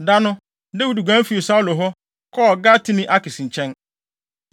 Da no, Dawid guan fii Saulo hɔ, kɔɔ Gathene Akis nkyɛn.